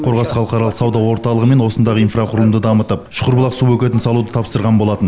қорғас халықаралық сауда орталығы мен осындағы инфрақұрылымды дамытып шүкірбұлақ су бөгетін салуды тапсырған болатын